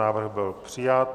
Návrh byl přijat.